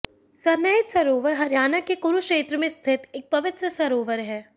सन्निहित सरोवर हरियाणा के कुरुक्षेत्र में स्थित एक पवित्र सरोवर है